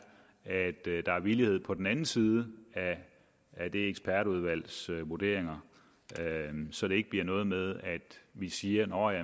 at der er villighed på den anden side af ekspertudvalgets vurderinger så det ikke bliver noget med at vi siger nå ja